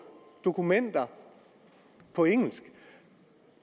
dokumenter på engelsk